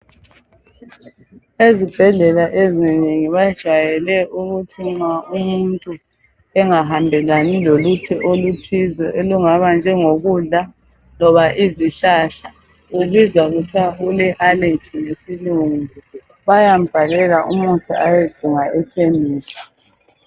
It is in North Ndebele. Ezibhedlela ezinengi bajayele ukuthi nxa umuntu engahambelani lolutho oluthize olungaba njengo kudla loba izihlahla ubizwa kuthiwa ule allergy ngesilungu bayambhalela umuthi ayedinga ekhemisi.